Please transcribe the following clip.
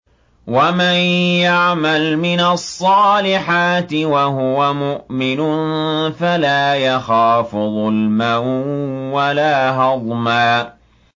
وَمَن يَعْمَلْ مِنَ الصَّالِحَاتِ وَهُوَ مُؤْمِنٌ فَلَا يَخَافُ ظُلْمًا وَلَا هَضْمًا